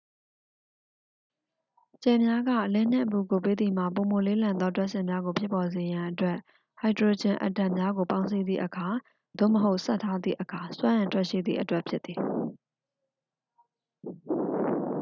ကြယ်များက အလင်းနှင့် အပူကို ပေးသည်မှာ ပိုမိုလေးလံသော ဒြပ်စင်များကို ဖြစ်ပေါ်စေရန်အတွက် ဟိုက်ဒရိုဂျင်အက်တမ်များကို ပေါင်းစည်းသည့်အခါ သို့မဟုတ် ဆက်ထားသည့်အခါ စွမ်းအင်ထွက်ရှိသည့်အတွက်ဖြစ်သည်။